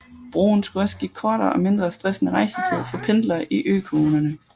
Broen skulle også give kortere og mindre stressende rejsetid for pendlere i økommunerne